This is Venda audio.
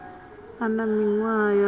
a na miṅwaha ya fumi